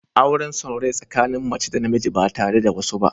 Auren son rai tsakanin mace da namiji ba tare da wasu ba.